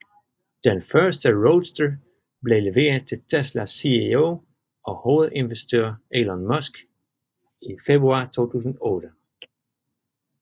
Den første Roadster blev leveret til Teslas CEO og hovedinvestor Elon Musk i februar 2008